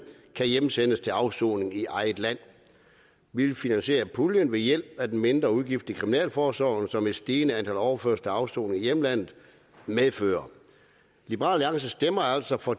kan hjemsendes til afsoning i eget land vi vil finansiere puljen ved hjælp af den mindre udgift i kriminalforsorgen som et stigende antal overførsler til afsoning i hjemlandet medfører liberal alliance stemmer altså for